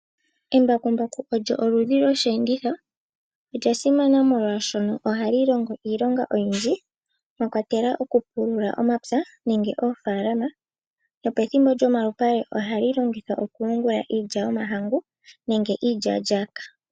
Embakumbaku olyo oludhi lwoshi enditho olya simana oshoka ohali longo iilonga oyindji mwakwatelwa okupulula omapya nenge oofalama nopethimbo lyomalipale ohali longithwa okuyungula iilya yomahangu nenge iiya lyaka.